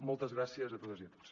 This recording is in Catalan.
moltes gràcies a totes i a tots